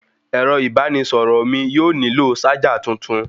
Ẹ̀rọ ìbánisọ̀rọ̀ mí yóò nílò ṣájà tuntun.